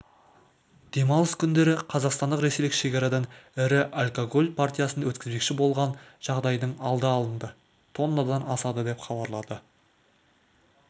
демалыс күндері қазақстандық-ресейлік шекарадан ірі алкоголь партиясын өткізбекші болған жағдайдың алды алынды тоннадан асады деп хабарлады